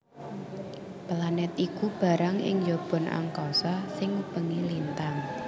Planèt iku barang ing njaban angkasa sing ngubengi lintang